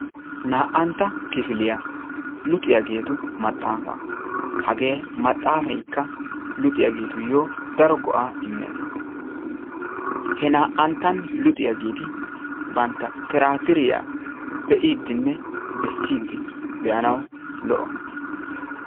Na"antta kifiliyaa luxxiyaagetu maaxaafaa. hagee maxaafaykka luxxiyaagetuyoo daro go"aa immees. he naa"anttan luxxiyaageti bantta tiraatiriyaa bee"idinne beessidi de"anawu loo"o.